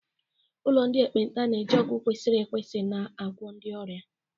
Ụlọ ndị ekpenta na-eji ọgwụ kwesịrị ekwesị na-agwọ ndị ọrịa.